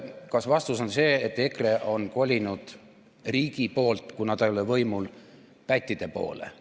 Kas vastus on see, et EKRE on kolinud riigi poolt, kuna ta ei ole võimul, pättide poole?